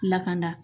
Lakana